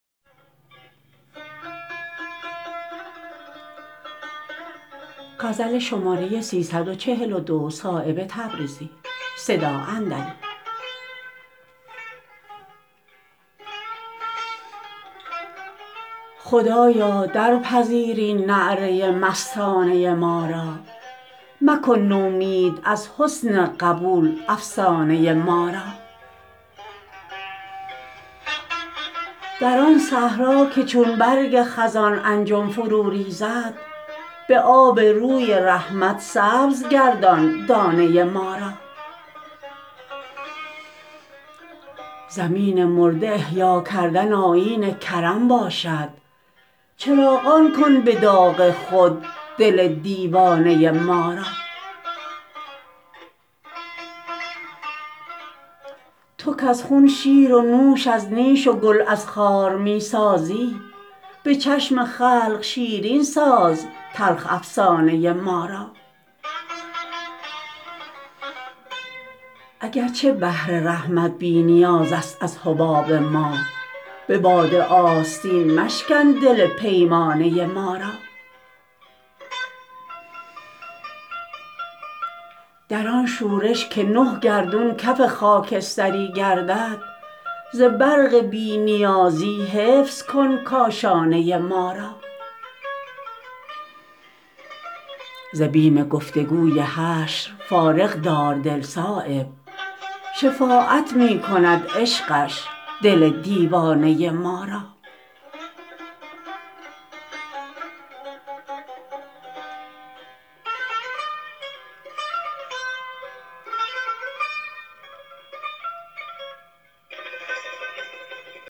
خدایا درپذیر این نعره مستانه ما را مکن نومید از حسن قبول افسانه ما را در آن صحرا که چون برگ خزان انجمن فرو ریزد به آب روی رحمت سبز گردان دانه ما را زمین مرده احیا کردن آیین کرم باشد چراغان کن به داغ خود دل دیوانه ما را تو کز خون شیر و نوش از نیش و گل از خار می سازی به چشم خلق شیرین ساز تلخ افسانه ما را اگر چه بحر رحمت بی نیازست از حباب ما به باد آستین مشکن دل پیمانه ما را در آن شورش که نه گردون کف خاکستری گردد ز برق بی نیازی حفظ کن کاشانه ما را ز بیم گفتگوی حشر فارغ دار دل صایب شفاعت می کند عشقش دل دیوانه ما را